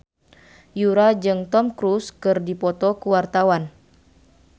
Yura jeung Tom Cruise keur dipoto ku wartawan